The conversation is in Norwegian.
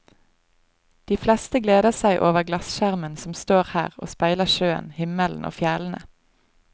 De fleste gleder seg over glasskjermen som står her og speiler sjøen, himmelen og fjellene.